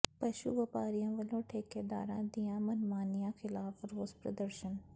ਪਸ਼ੂ ਵਪਾਰੀਆਂ ਵੱਲੋਂ ਠੇਕੇਦਾਰਾਂ ਦੀਆਂ ਮਨਮਾਨੀਆਂ ਖਿਲਾਫ਼ ਰੋਸ ਪ੍ਰਦਰਸ਼ਨ